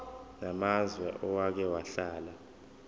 namazwe owake wahlala